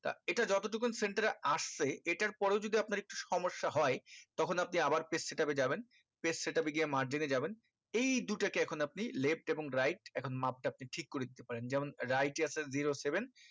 তা এটা যত টুকুন center এ আসছে এটার পরেও যদি আপনার একটু সমস্যা হয় তখন আপনি আবার page set up এ যাবেন page set up এ গিয়ে margin এ যাবেন এই দুটোকে এখন আপনি left এবং right এখন মাপ টা আপনি ঠিক করে দিতে পারেন যেমন right এ আছে zero seven